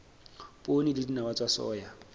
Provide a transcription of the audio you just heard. poone le dinawa tsa soya